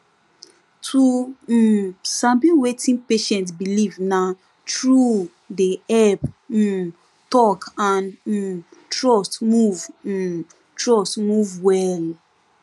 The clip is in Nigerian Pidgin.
to um sabi wetin patient believe na true dey help um talk and um trust move um trust move well